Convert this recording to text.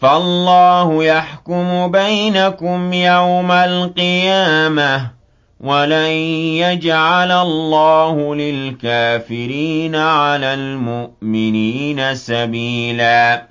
فَاللَّهُ يَحْكُمُ بَيْنَكُمْ يَوْمَ الْقِيَامَةِ ۗ وَلَن يَجْعَلَ اللَّهُ لِلْكَافِرِينَ عَلَى الْمُؤْمِنِينَ سَبِيلًا